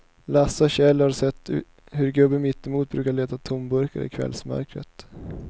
Lasse och Kjell har sett hur gubben mittemot brukar leta tomburkar i kvällsmörkret.